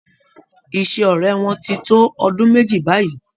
Ìṣe ọrẹ wọn tí n tó ọdún méjì báyìí.